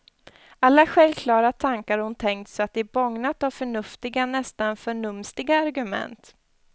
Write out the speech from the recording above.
Alla självklara tankar hon tänkt så att de bågnat av förnuftiga, nästan förnumstiga argument.